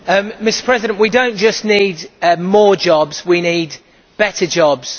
Mr President, we do not just need more jobs, we need better jobs.